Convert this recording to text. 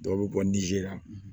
Dɔw bɛ bɔ nizeri la